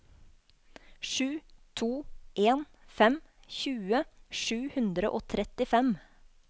sju to en fem tjue sju hundre og trettifem